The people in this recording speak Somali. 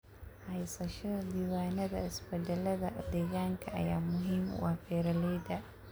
Haysashada diiwaannada isbeddellada deegaanka ayaa muhiim u ah beeralayda.